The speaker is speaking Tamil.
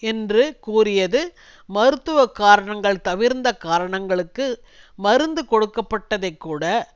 என்றும் கூறியது மருத்துவ காரணங்கள் தவிர்ந்த காரணங்களுக்கு மருந்து கொடுக்கப்பட்டதைக் கூட